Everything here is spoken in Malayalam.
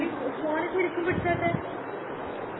phone ശെരിക്കും പിടിച്ചാട്ടെ